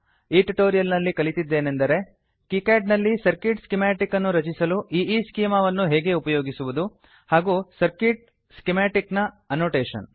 ಈ ಟ್ಯುಟೋರಿಯಲ್ ನಲ್ಲಿ ಕಲಿತಿದ್ದೇನೆಂದರೆ ಕೀಕ್ಯಾಡ್ ನಲ್ಲಿ ಸರ್ಕಿಟ್ ಸ್ಕೀಮಾಟಿಕ್ ಅನ್ನು ರಚಿಸಲು ಈಸ್ಚೆಮಾ ಅನ್ನು ಹೇಗೆ ಉಪಯೋಗಿಸುವುದು ಹಾಗೂ ಸರ್ಕ್ಯೂಟ್ ಸ್ಕಿಮಾಟಿಕ್ ನ ಆನೊಟೇಷನ್